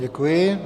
Děkuji.